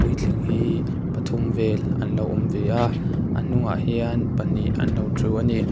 tling hi pathum vêl an lo awm ve a a hnungah hian pahnih an lo ṭhu a ni.